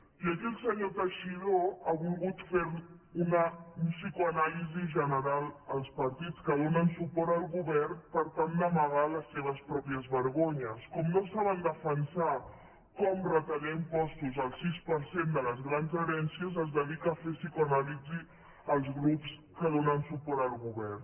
i aquí el senyor teixidó ha volgut fer una psicoanàlisi general als partits que donen suport al govern per tal d’amagar les seves pròpies vergonyes com no saben defensar com retallar impostos al sis per cent de les grans herències es dedica a fer psicoanàlisi als grups que donen suport al govern